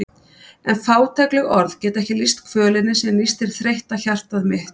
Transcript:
En fátækleg orð geta ekki lýst kvölinni sem nístir þreytta hjartað mitt.